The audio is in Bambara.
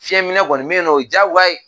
Fiɲɛminɛ kɔniɔ bɛ yen nɔ o ye diyagoya ye